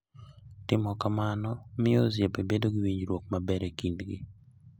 Timo kamano miyo osiepe bedo gi winjruok maber e kindgi.